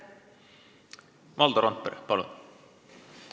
Valdo Randpere, palun!